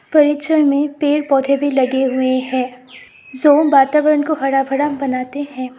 परीक्षण में पेड़ पौधे भी लगे हुऎ हैं जो वातावरण को हरा भरा बनाते है।